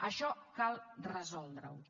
això cal resoldre ho